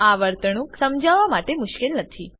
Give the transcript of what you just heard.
આ વર્તણૂક સમજાવવા માટે મુશ્કેલ નથી